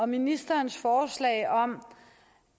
ministerens forslag om